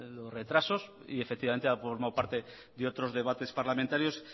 los retrasos y efectivamente ha formado parte de otros debates parlamentarios